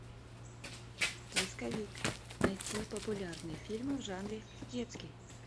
поисковик найти популярные фильмы в жанре детский